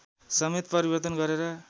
समेत परिवर्तन गरेर